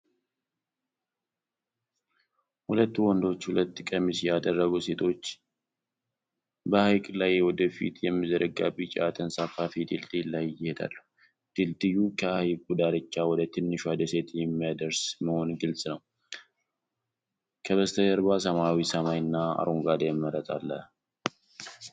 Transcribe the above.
ሁለት ወንዶችና ሁለት ቀሚስ ያደረጉ ሴቶች በሐይቅ ላይ ወደ ፊት የሚዘረጋ ቢጫ ተንሳፋፊ ድልድይ ላይ ይሄዳሉ። ድልድዩ ከሐይቁ ዳርቻ ወደ ትንሿ ደሴት የሚያደርስ መሆኑ ግልጽ ነው። ከበስተጀርባ ሰማያዊ ሰማይ እና አረንጓዴ መሬት አለ።